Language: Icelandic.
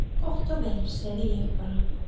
Gott og vel, segi ég bara.